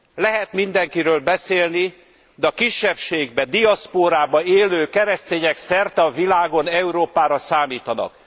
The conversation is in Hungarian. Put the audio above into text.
Lehet mindenkiről beszélni, de a kisebbségben, diaszpórában élő keresztények szerte a világon Európára számítanak.